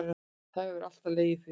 Það hefur alltaf legið fyrir